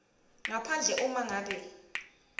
ngaphandle uma ngabe